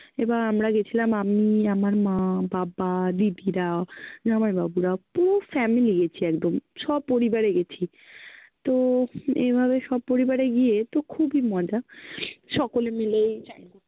এবার আমরা গেছিলাম, আমি, আমার মা, বাবা, দিদিরা, জামাই বাবুরা, পুরো family গেছি একদম, সপরিবারে গেছি তো এইভাবে সপরিবারে গিয়ে তো খুবই মজা সকলে মিলেই